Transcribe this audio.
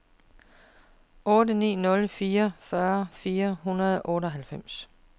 otte ni nul fire fyrre fire hundrede og otteoghalvfems